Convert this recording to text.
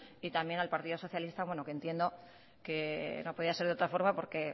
y también al partido socialista que entiendo que no podía ser de otra forma porque